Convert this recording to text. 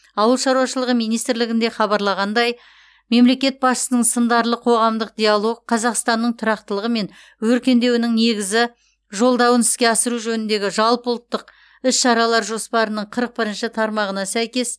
ауыл шаруашылығы министрлігінде хабарлағандай мемлекет басшысының сындарлы қоғамдық диалог қазақстанның тұрақтылығы мен өркендеуінің негізі жолдауын іске асыру жөніндегі жалпыұлттық іс шаралар жоспарының қырық бірінші тармағына сәйкес